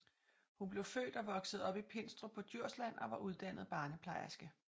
Hun blev født og voksede op i Pindstrup på Djursland og var uddannet barneplejerske